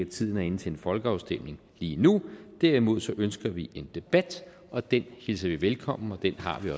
tiden er inde til en folkeafstemning lige nu derimod ønsker vi en debat og den hilser vi velkommen og den har vi